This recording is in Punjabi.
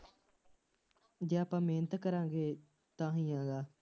ਜੇ ਆਪਾਂ ਮਿਹਨਤ ਕਰਾਂਗੇ ਤਾਂ ਵੀ ਹੈਗਾ,